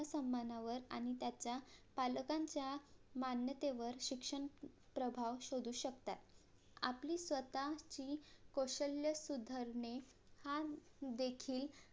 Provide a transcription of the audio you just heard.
आत्मसम्मानावर आणि त्याचा पालकांच्या मान्यतेवर शिक्षण प्रभाव शोधू शकतात आपली स्वतःची कौशल्य सुधरणे हा देखील